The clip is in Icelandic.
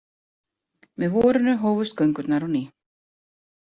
Með vorinu hófust göngurnar á ný.